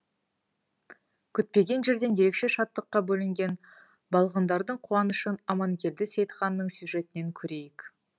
күтпеген жерден ерекше шаттыққа бөленген балғындардың қуанышын аманкелді сейітханның сюжетінен көрейік